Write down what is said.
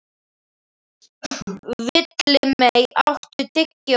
Villimey, áttu tyggjó?